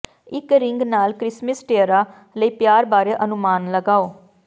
ਇੱਕ ਰਿੰਗ ਨਾਲ Christmas tiara ਲਈ ਪਿਆਰ ਬਾਰੇ ਅਨੁਮਾਨ ਲਗਾਓ